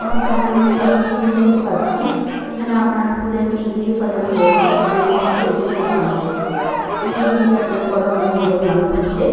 আমার সামনে আমি একটি অফিস রুম দেখতে পাচ্ছি। এখানে আপনার ফুলের স্টিক দিয়ে সাজানো হয়েছে। এখানে ফ্যান চলছে বলে মনে হচ্ছে। উমম দিনটি আপনার গরমের দিন বলে মনে হচ্ছে।